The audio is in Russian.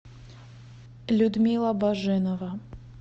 людмила баженова